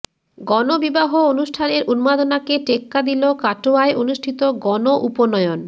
গণ বিবাহ অনুষ্ঠানের উন্মাদনাকে টেক্কা দিল কাটোয়ায় অনুষ্ঠিত গণ উপনয়ন